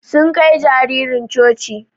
Sun Kai jaririn coci.